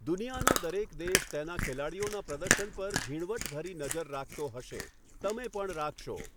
દુનિયાનો દરેક દેશ તેના ખેલાડીઓના પ્રદર્શન પર ઝીણવટ ભરી નજર રાખતો હશે, તમે પણ રાખશો.